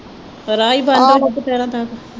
ਰਾਹ ਹੀ ਬੰਦ ਹੋਜੂ ਦੁਪਹਿਰਾ ਤੱਕ